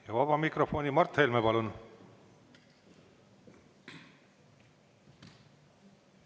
Ja vaba mikrofoni Mart Helme.